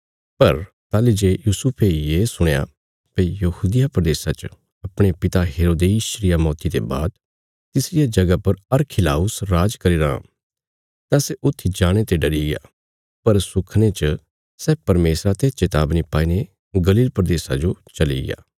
पर ताहली जे यूसुफे ये सुणया भई यहूदिया प्रदेशा च अपणे पिता हेरोदेस रिया मौती ते बाद तिसरिया जगह पर अरखिलाउस राज करीराँ तां सै ऊत्थी जाणे ते डरिग्या पर सुखने च सै परमेशरा ते चेतावनी पाईने गलील प्रदेशा जो चलिग्या